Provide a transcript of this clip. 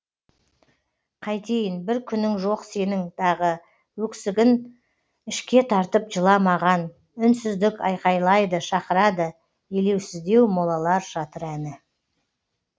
қайтейін бір күнің жоқ сенің дағы өксігін ішке тартып жыламаған үнсіздік айқайлайды шақырады елеусіздеу молалар жатыр әні